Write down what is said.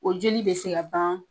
O jeli be se ka baan